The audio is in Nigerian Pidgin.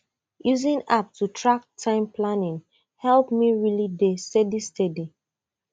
using app to track time planning help me really dey steady steady